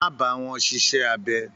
Má bá wọn ṣiṣẹ́ abẹ.